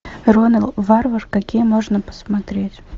ронал варвар какие можно посмотреть